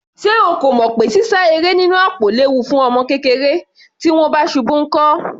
Ṣé o kò mọ̀ pé sísá eré nínú àpò léwu fún ọmọ kékeré? Tí wọ́n bá ṣubú nkọ́?